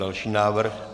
Další návrh.